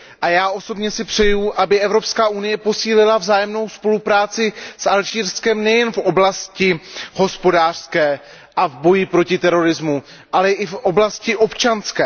A já osobně si přeju, aby EU posílila vzájemnou spolupráci s Alžírskem nejen v oblasti hospodářské a v boji proti terorismu, ale i v oblasti občanské.